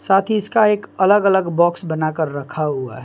साथ ही इसका एक अलग अलग बॉक्स बनाकर रखा हुआ है।